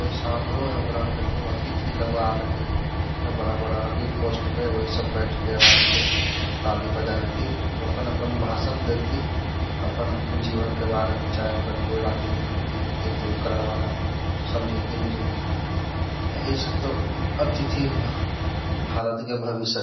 कोई बड़ा-बड़ा है की पोस्ट पे वही सब बैठ के आराम से ताली बजाई थी अपन-अपन भाषण दी थी अपन जीवन के बारे में चाहे अपना जो राजनीती तो उनकरा बारे में समझते बुझेती यही सब तो अथिति भारत के भविष्य के।